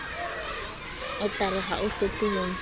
otara ha o hloke ho